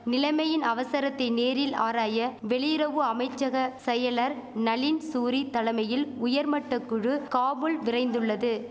நிலைமையின் அவசரத்தை நேரில் ஆராய வெளியிறவு அமைச்சக செயலர் நளின் சூரி தலமையில் உயர்மட்டகுழு காபுல் விரைந்துள்ளது